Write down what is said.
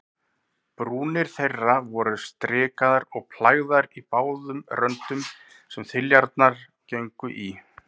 Brúnir þeirra voru strikaðar og plægðar í báðum röndum, sem þiljurnar gengu í.